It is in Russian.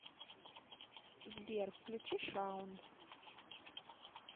сбер включи шаун